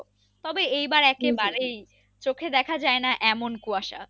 তবে এইবার চোখে দেখা যায়না এমন কুয়াশা প্রচন্ড রকম কুয়াশা প্রচন্ড রকম ঠান্ডা আসলেই মানে বলার কিছু নেই হ্যা ঠিক বলেছো।